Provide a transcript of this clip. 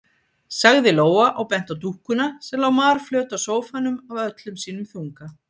sagði Lóa og benti á dúkkuna sem lá marflöt á sófanum af öllum sínum þunga.